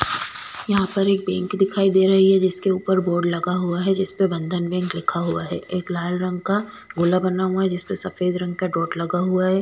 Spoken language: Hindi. यहां पर एक बैंक दिखाई दे रही है जिसके ऊपर बोर्ड लगा हुआ है जिस पे बंधन बैंक लिखा हुआ है एक लाल रंग का गोला बना हुआ है जिस पर सफेद रंग का डॉट लगा हुआ है।